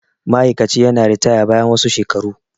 ma'aikaci yana ritaya bayan wasu shelaru